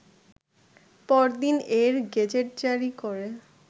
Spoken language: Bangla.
পরদিন এর গেজেটজারি করে